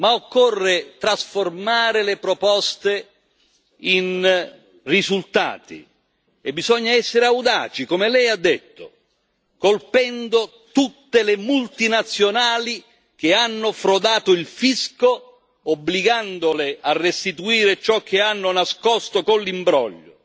Ma occorre trasformare le proposte in risultati e bisogna essere audaci, come Lei ha detto, colpendo tutte le multinazionali che hanno frodato il fisco, obbligandole a restituire ciò che hanno nascosto con l'imbroglio.